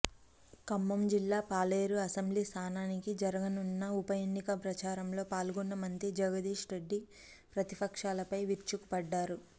ఖమ్మం జిల్లా పాలేరు అసెంబ్లీ స్థానానికి జరుననున్న ఉప ఎన్నిక ప్రచారంలో పాల్గొన్న మంత్రి జగదీష్రెడ్డి ప్రతిపక్షాలపై విరుచుక పడ్డారు